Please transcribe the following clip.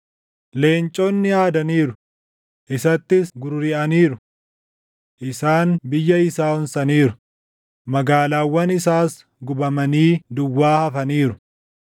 Leenconni aadaniiru; isattis gururiʼaniiru. Isaan biyya isaa onsaniiru; magaalaawwan isaas gubamanii duwwaa hafaniiru.